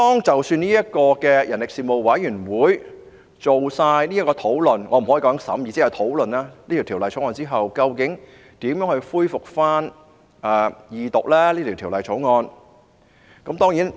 即使人力事務委員會完成討論——我不能說是審議，只能說是討論——這項《條例草案》後，究竟如何恢復《條例草案》的二讀辯論？